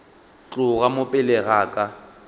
tloga mo pele ga ka